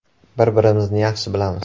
Bir-birimizni yaxshi bilamiz.